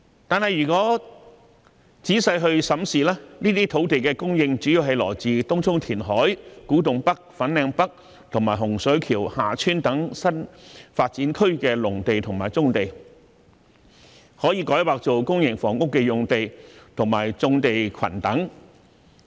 可是，如果仔細審視，這些土地的供應主要來自東涌填海、古洞北/粉嶺北及洪水橋/厦村等新發展區的農地和棕地，以及可以改劃作公營房屋的用地和棕地群等。